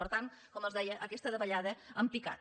per tant com els deia aquesta davallada en picat